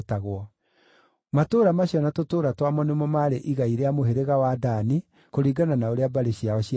Matũũra macio na tũtũũra twamo nĩmo maarĩ igai rĩa mũhĩrĩga wa Dani, kũringana na ũrĩa mbarĩ ciao ciatariĩ.